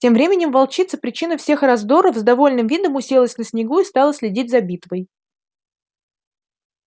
тем временем волчица причина всех раздоров с довольным видом уселась на снегу и стала следить за битвой